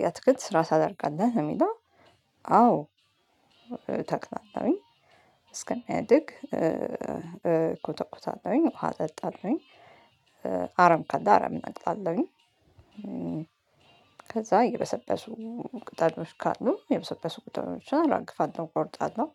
የአትክልት ስራ ታደርጋለህ ለሚለው አዎ እተክላለሁኝ እስከሚያድግ እኮተኩታለሁኝ ውሃ እጠጣለሁኝ አረም ካለ አረም እነቅላለሁኝ። ከዛ የበሰበሱ ቅጠሎች ካሉ የበሰበሱ ቅጠሎችን አራግፋለሁ እቆርጣለሁ።